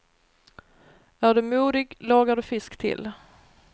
Är du modig lagar du fisk till.